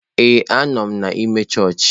Ee, anọ m n'ime chọọchị.